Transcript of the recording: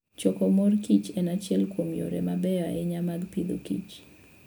Choko mor kich en achiel kuom yore mabeyo ahinya mag Agriculture and Foodi.